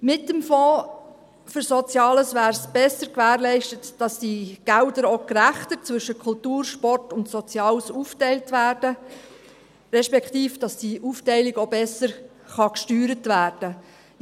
Mit dem Fonds für Soziales wäre besser gewährleistet, dass diese Gelder auch gerechter zwischen Kultur, Sport und Sozialem aufgeteilt würden, respektive, dass die Aufteilung auch besser gesteuert werden könnte.